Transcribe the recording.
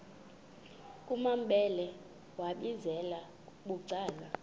kumambhele wambizela bucala